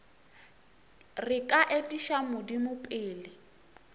re ka etiša modimo pele